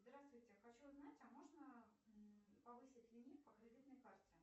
здравствуйте хочу узнать а можно повысить лимит по кредитной карте